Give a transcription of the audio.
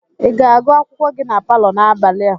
Ị ga-agụ akwụkwọ gị na palọ n'abalị a?